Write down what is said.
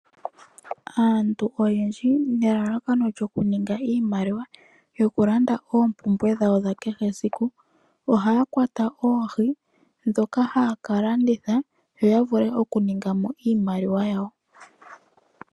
Aantu oyendji nelalakano lyokuninga iimaliwa yokulanda oompumbwe dhawo dha kehe esiku ohaya kwata oohi ndhoka haya ka landitha yo ya vule okuninga mo iimaliwa yawo.